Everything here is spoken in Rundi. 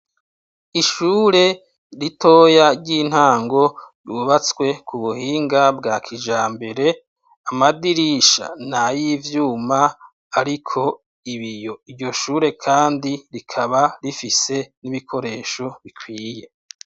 Ishure ritoya ry’intango bubatswe kubuhinga bwa kijambere, amadirisha nayivyuma ariko ibiyo, iryo shure kandi rikaba rifise ibikoresho bikwiye.